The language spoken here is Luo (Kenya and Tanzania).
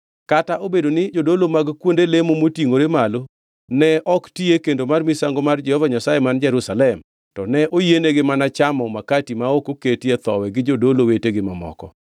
Kata obedo ni jodolo mag kuonde lemo motingʼore gi malo ne ok ti e kendo mar misango mar Jehova Nyasaye man Jerusalem, to ne oyienegi mana chamo makati ma ok oketie thowi gi jodolo wetegi mamoko.